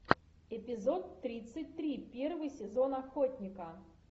эпизод тридцать три первый сезон охотника